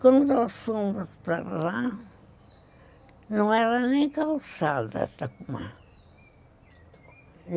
Quando nós fomos para lá, não era nem calçada a Tacumã